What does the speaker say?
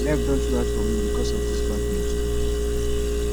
life don too hard for me because of this bad news